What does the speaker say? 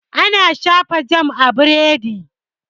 Ana shafa jam a biredi.